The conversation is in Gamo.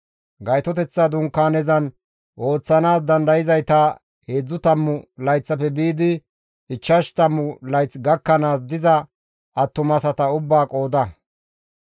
Gaytoteththa Dunkaanezan ooththanaas dandayzayta heedzdzu tammu layththafe biidi ichchashu tammu layth gakkanaas diza attumasata ubbaa qooda.